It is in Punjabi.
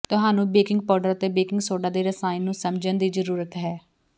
ਤੁਹਾਨੂੰ ਬੇਕਿੰਗ ਪਾਊਡਰ ਅਤੇ ਬੇਕਿੰਗ ਸੋਡਾ ਦੇ ਰਸਾਇਣ ਨੂੰ ਸਮਝਣ ਦੀ ਜ਼ਰੂਰਤ ਹੈ